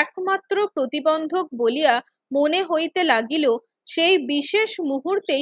একমাত্র প্রতিবন্ধক বলিয়া মনে হইতে লাগিল সেই বিশেষ মুহূর্তেই